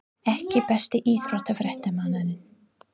EKKI besti íþróttafréttamaðurinn?